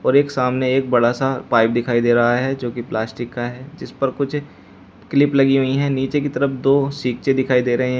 एक सामने एक बड़ा सा पाइप दिखाई दे रहा है जो की प्लास्टिक का है जिस पर कुछ क्लिप लगी हुई है नीचे की तरफ दो सिकचे से दिखाई दे रहे हैं।